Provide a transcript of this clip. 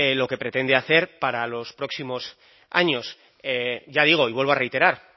lo que pretende hacer para los próximos años ya digo y vuelvo a reiterar